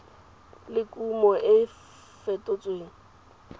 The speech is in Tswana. le kumo e e fetotsweng